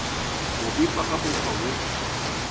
go befa ka mokgwa wo